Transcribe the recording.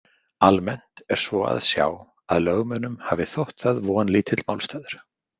Almennt er svo að sjá að lögmönnunum hafi þótt það vonlítill málstaður.